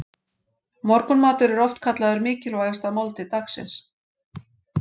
Morgunmatur er oft kallaður mikilvægasta máltíð dagsins.